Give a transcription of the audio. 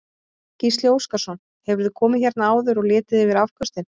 Gísli Óskarsson: Hefurðu komið hérna áður og litið yfir afköstin?